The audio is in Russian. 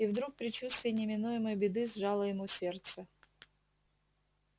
и вдруг предчувствие неминуемой беды сжало ему сердце